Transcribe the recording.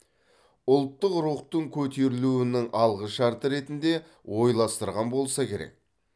ұлттық рухтың көтерілуінің алғышарты ретінде ойластырған болса керек